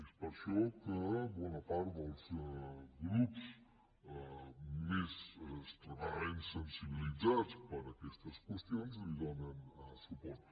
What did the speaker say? és per això que bona part dels grups més extremadament sensibilitzats per aquestes qüestions hi donen donen suport